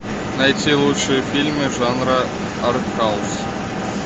найти лучшие фильмы жанра артхаус